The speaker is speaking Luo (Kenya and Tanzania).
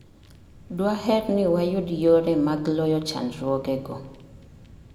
Dwaher ni wayud yore mag loyo chandruogego